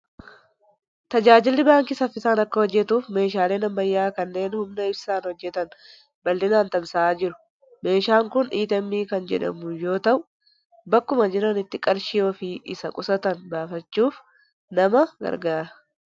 Tajaajilli baankii saffisaan akka hojjetuuf meeshaaleen ammayyaa kanneen humna ibsaan hojjetan babal'inaan tamsa'aa jiru. Meeshaan kun ATM kan jedhamu yoo ta'u, bakkuma jiranitti qarshii ofii isa qusatan baafachuuf nama gargaara.